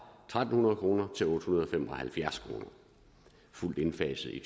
tre hundrede kroner til otte hundrede og fem og halvfjerds kr fuldt indfaset i